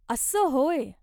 अस्सं होय.